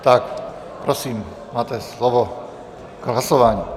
Tak prosím, máte slovo k hlasování.